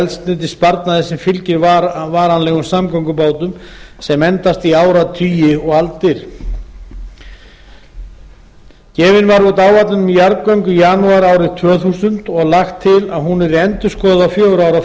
eldsneytissparnaði sem fylgir varanlegum samgöngubótum sem endast í áratugi og aldir gefin var út áætlun um jarðgöng í janúar árið tvö þúsund og lagt til að hún yrði endurskoðuð á fjögurra ára